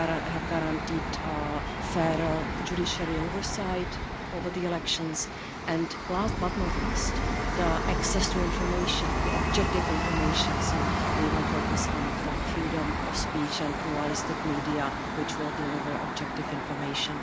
have guaranteed fairer judiciary oversight over the elections and, last but not least, access to objective information, so we will focus on the freedom of speech and pluralistic media, which will deliver objective information.